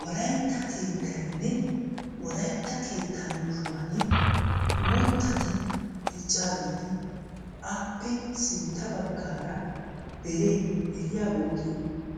Wolaytta keetttayne wolaytta keetta yuushshuwan uuttati diccageti, appe sintta baggara deree deriyaa bolli